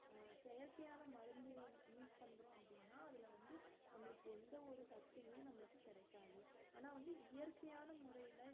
அஹ் செயற்கையான மருந்து use பண்றோம் அப்படினா அதுல வந்து நம்மளுக்கு எந்த ஒரு சத்துமே நம்மளுக்கு கிடைக்காது ஆனா வந்து இயற்கையான முறையில